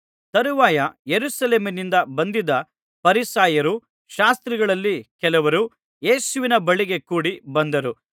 ತರುವಾಯ ಯೆರೂಸಲೇಮಿನಿಂದ ಬಂದಿದ್ದ ಫರಿಸಾಯರೂ ಶಾಸ್ತ್ರಿಗಳಲ್ಲಿ ಕೆಲವರೂ ಯೇಸುವಿನ ಬಳಿಗೆ ಕೂಡಿ ಬಂದರು